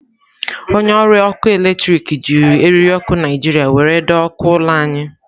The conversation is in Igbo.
Onye ọrụ ọkụ eletrik jiri eriri okụ Naijiria were doo okụ ụlọ anyị.